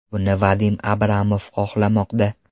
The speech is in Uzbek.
Buni Vadim Abramov xohlamoqda.